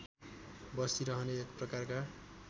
बसिरहने एक प्रकारका